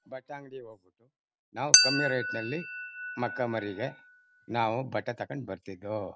ಬಟ್ಟೆ ಅಂಗ್ಡಿ ಹೋಗ್ಬಿಟ್ಟು ನಾವು ಕಮ್ಮಿ ರೇಟ್ ನಲ್ಲಿ ಮಕ್ಕ ಮರಿಗೆ ನಾವು ಬಟ್ಟೆ ತಕೊಂಡ ಬರ್ತಿದು.